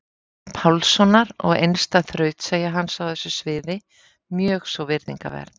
Pálssonar og einstæð þrautseigja hans á þessu sviði mjög svo virðingarverð.